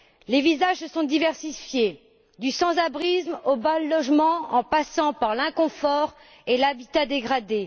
Les visages se sont diversifiés, du sans abrisme au mal logement, en passant par l'inconfort et l'habitat dégradé.